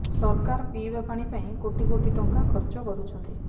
ସରକାର ପିଇବା ପାଣି ପାଇଁ କୋଟି କୋଟି ଟଙ୍କା ଖର୍ଚ୍ଚ କରୁଛନ୍ତି